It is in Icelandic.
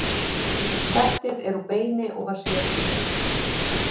Settið er úr beini og var sérsmíðað.